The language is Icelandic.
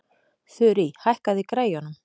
Þurí, hækkaðu í græjunum.